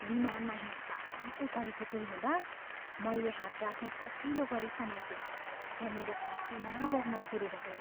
विमानमा हिंसात्मक उथलपुथल हुँदा मैले हात राख्ने कसिलो गरी समातेँ र मेरो पसिना बग्न सुरु भयो।